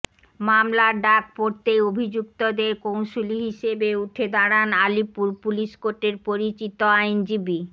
মামলার ডাক পড়তেই অভিযুক্তদের কৌঁসুলি হিসাবে উঠে দাঁড়ান আলিপুর পুলিশ কোর্টের পরিচিত আইনজীবী